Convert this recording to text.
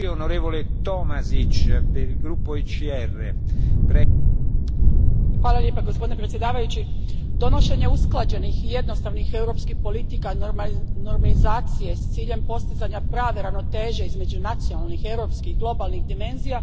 Gospodine predsjedniče, donošenje usklađenih i jednostavnih europskih politika normizacije s ciljem postizanja prave ravnoteže između nacionalnih, europskih i globalnih dimenzija važno je, prije svega, u kontekstu konačne uspostave jedinstvenog digitalnog tržišta.